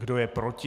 Kdo je proti?